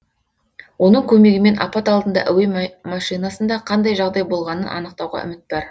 оның көмегімен апат алдында әуе машинасында қандай жағдай болғанын анықтауға үміт бар